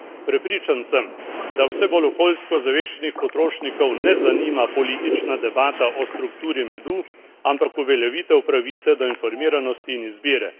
Prepričan sem, da vse bolj okoljsko ozaveščenih potrošnikov ne zanima politična debata o strukturi medu, ampak uveljavitev pravice do informiranosti in izbire.